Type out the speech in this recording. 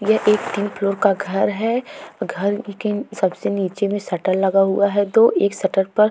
यह एक तीन फ्लोर का घर है। घर लेकिन सबसे नीचे में शटर लगा हुआ है दो एक शटर पर --